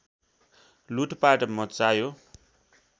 लुटपाट मच्चायो